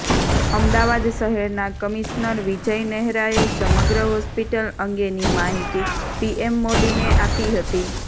અમદાવાદ શહેરના કમિશનર વિજય નહેરાએ સમગ્ર હોસ્પિટલ અંગેની માહિતી પીએમ મોદીને આપી હતી